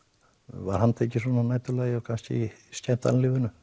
var handtekið svona að næturlagi kannski í skemmtanalífinu